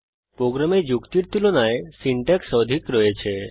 প্রোগ্রামে যুক্তির তুলনায় সিনট্যাক্স অধিক রয়েছে